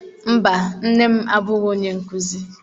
Mba, nne m abụghị onye nkuzi.